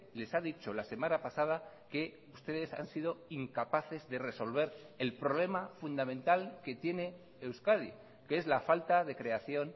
les ha dicho la semana pasada que ustedes han sido incapaces de resolver el problema fundamental que tiene euskadi que es la falta de creación